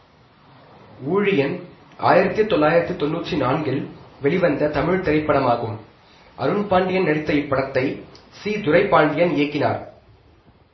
ஊழியன் ஆயிரத்தி தொள்ளாயிரத்தி தொன்னூற்றி நான்கில் வெளிவந்த தமிழ் திரைப்படமாகும் அருண்பாண்டியன் நடித்த இப்படத்தை சி துரைபாண்டியன் இயக்கினார்